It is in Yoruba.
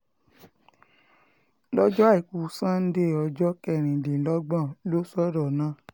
lọ́jọ́ àìkú sánńdé ọjọ́ um kẹrìndínlọ́gbọ̀n ló sọ̀rọ̀ náà